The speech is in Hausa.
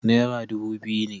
Naira dubu biyu ne.